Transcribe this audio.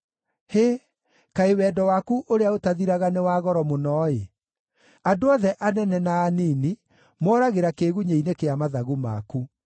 Hĩ! Kaĩ wendo waku ũrĩa ũtathiraga nĩ wa goro mũno-ĩ! Andũ othe anene na anini moragĩra kĩĩgunyĩ-inĩ kĩa mathagu maku.